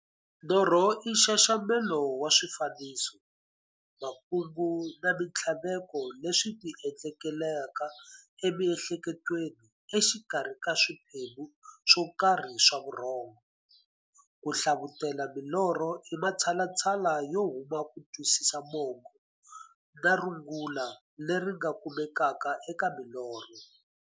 Norho i nxaxamelo wa swifaniso, makungu na minthlaveko leswi ti endlekelaka e miehleketweni exikarhi ka swiphemu swokarhi swa vurhongo. Ku hlavutela milorho i matshalatshala yo kuma kutwisisa mungo na rungula leri nga kumekaka eka milorho.